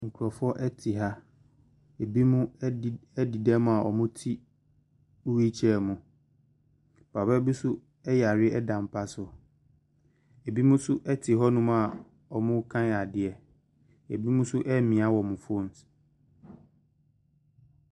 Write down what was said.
Nkurɔfoɔ te ha, binom adi adi dɛm a wɔte wheelchair mu, papa bi nso yare da mpa so, binom nso te hɔnom a wɔrekan adeɛ, binom nso ɛremia wɔn phones.